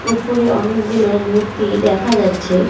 উপরে অনেকগুলো মূর্তি দেখা যাচ্ছে।